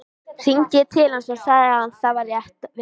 Hringdi ég til hans og sagði hann það rétt vera.